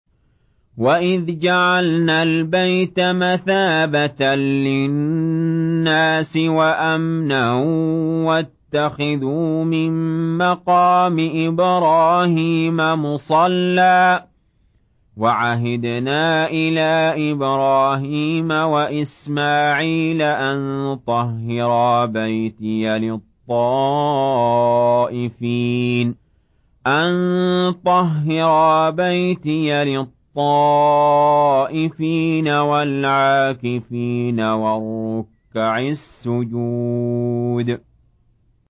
وَإِذْ جَعَلْنَا الْبَيْتَ مَثَابَةً لِّلنَّاسِ وَأَمْنًا وَاتَّخِذُوا مِن مَّقَامِ إِبْرَاهِيمَ مُصَلًّى ۖ وَعَهِدْنَا إِلَىٰ إِبْرَاهِيمَ وَإِسْمَاعِيلَ أَن طَهِّرَا بَيْتِيَ لِلطَّائِفِينَ وَالْعَاكِفِينَ وَالرُّكَّعِ السُّجُودِ